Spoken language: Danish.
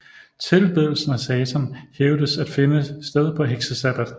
Tilbedelsen af Satan hævdedes at finde sted på heksesabbat